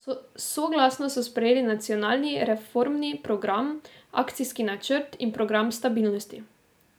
Soglasno so sprejeli nacionalni reformni program, akcijski načrt in program stabilnosti.